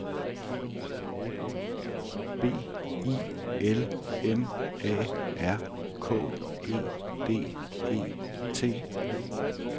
B I L M A R K E D E T